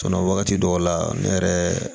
wagati dɔw la ne yɛrɛ